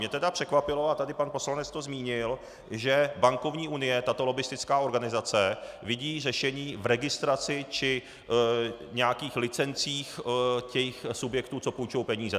Mě tedy překvapilo, a tady pan poslanec to zmínil, že bankovní unie, tato lobbistická organizace, vidí řešení v registraci či nějakých licencích těch subjektů, co půjčují peníze.